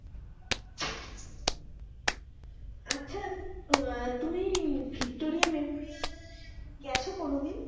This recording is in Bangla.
তুমি ভিক্টোরিয়া মেমোরিয়ালে গেছো কোনো দিন?